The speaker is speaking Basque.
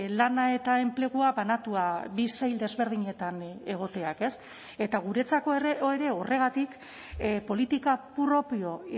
lana eta enplegua banatua bi sail desberdinetan egoteak ez eta guretzako ere horregatik politika propio